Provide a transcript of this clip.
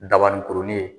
Dabanikurunin